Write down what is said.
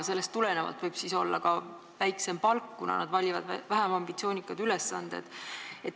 Sellest tulenevalt võib neil olla ka väiksem palk, kuna nad valivad vähem ambitsioonikaid ülesandeid.